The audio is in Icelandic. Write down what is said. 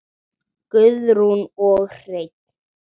Guðrún og Hreinn.